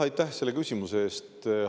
Aitäh selle küsimuse eest!